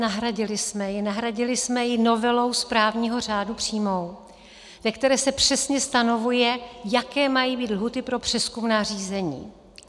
Nahradili jsme ji novelou správního řádu přímou, ve které se přesně stanovuje, jaké mají být lhůty pro přezkumná řízení.